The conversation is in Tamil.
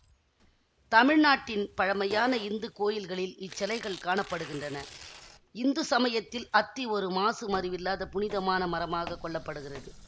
தமிழ்நாட்டின் பழைமையான இந்து கோயில்களில் இச்சிலைகள் காண படுகின்றன இந்து சமயத்தில் அத்தி ஒரு மாசு மருவில்லாத புனிதமான மரமாகக் கொள்ள படுகிறது